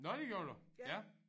Nåh det gjorde du ja